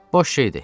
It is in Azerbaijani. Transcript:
Boş şeydir.